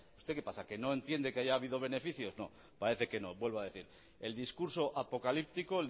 usted que pasa que no entiende que haya habido beneficios no parece que no vuelvo a decir el discurso apocalíptico